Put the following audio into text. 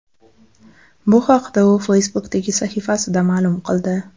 Bu haqda u Facebook’dagi sahifasida ma’lum qildi .